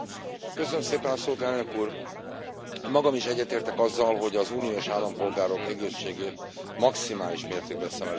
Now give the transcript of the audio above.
Elnök Úr, magam is egyetértek azzal, hogy az uniós állampolgárok egészségét maximális mértékben szem előtt kell tartanunk.